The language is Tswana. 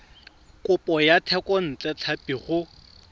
kopo ya thekontle tlhapi go